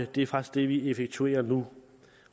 det er faktisk det vi effektuerer nu